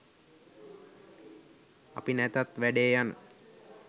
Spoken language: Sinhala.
අපි නැතත් වැඩේ යන